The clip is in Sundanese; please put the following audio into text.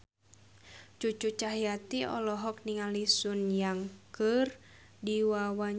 Cucu Cahyati olohok ningali Sun Yang keur diwawancara